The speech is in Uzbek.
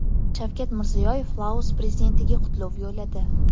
Shavkat Mirziyoyev Laos prezidentiga qutlov yo‘lladi.